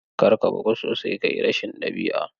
Kar ka bugu sosai ka yi rashin ɗabi'a.